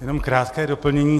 Jen krátké doplnění.